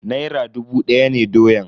Naira dubu daya ne doyan.